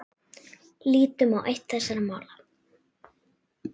Lítum á eitt þessara mála.